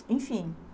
Enfim.